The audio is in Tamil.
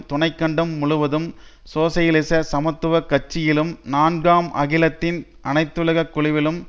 துணை கண்டம் முழுவதும் சோசியலிச சமத்துவ கட்சியிலும் நான்காம் அகிலத்தின் அனைத்துலக் குழுவிலும்